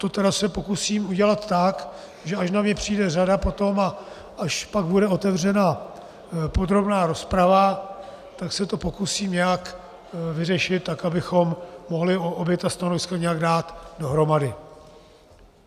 To tedy se pokusím udělat tak, že až na mě přijde řada potom a až pak bude otevřena podrobná rozprava, tak se to pokusím nějak vyřešit, tak abychom mohli obě ta stanoviska nějak dát dohromady.